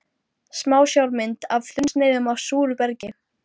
Smásjármynd af þunnsneiðum af súru bergi.